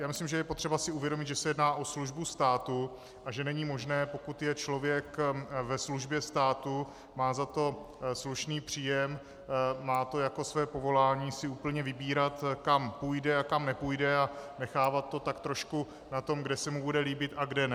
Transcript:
Já myslím, že je potřeba si uvědomit, že se jedná o službu státu a že není možné, pokud je člověk ve službě státu, má za to slušný příjem, má to jako své povolání, si úplně vybírat, kam půjde a kam nepůjde, a nechávat to tak trošku na tom, kde se mu bude líbit a kde ne.